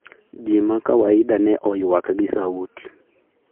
ji makawaida ne oyuak gi sauti